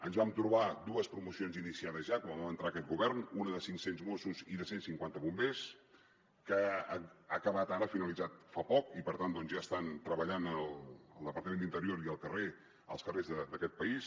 ens vam trobar dues promocions iniciades ja quan vam entrar aquest govern una de cinc cents mossos i una de cent cinquanta bombers que ha acabat ara ha finalitzat fa poc i per tant doncs ja estan treballant al departament d’interior i als carrers d’aquest país